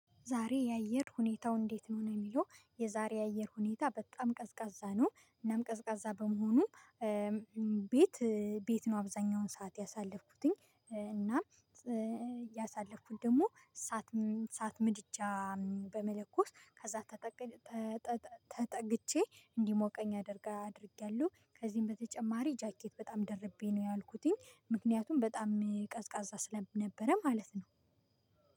ዛሬ የአየር ሁኔታው እንዴት ነው ነው? የሚለው የዛሬ የአየር ሁኔታ በጣም ቀዝቃዛ ነው። እናም ቀዝቃዛ በመሆኑ ቤት ቤት ነው አብዛኛውን ሰዓት ያሳለፍኩትኝ። እና ያሳለፍኩት ደግሞ እሳት እሳት ምድጃ በመለኮስ ከዛ ተጠግቼ እንዲሞቀኝ አደርጋ አድርጌያለሁ። ከዚህም በተጨማሪ ጃኬት በጣም ደርቤ ነው ያዋልኩትኝ። ምክንያቱም በጣም ቀዝቃዛ ስለነበረ ማለት ነው።